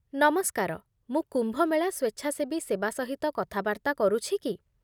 ନମସ୍କାର, ମୁଁ କୁମ୍ଭ ମେଳା ସ୍ୱେଚ୍ଛାସେବୀ ସେବା ସହିତ କଥାବାର୍ତ୍ତା କରୁଛି କି?